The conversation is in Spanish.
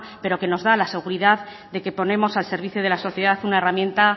pero que nos da la seguridad de que ponemos al servicio de la sociedad una herramienta